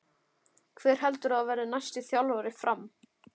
Hver heldur þú að verði næsti þjálfari FRAM?